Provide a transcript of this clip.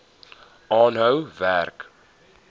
aanhou werk